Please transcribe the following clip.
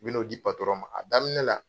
U bɛn'o di patɔrɔn ma, a daminɛ la.